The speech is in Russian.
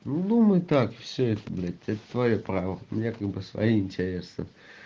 думай так все это блять ты твоё право у меня как бы свои интересы